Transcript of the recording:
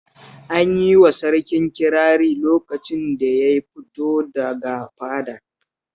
An yi wa sarkin kirari lokacin da ya fito daga fadar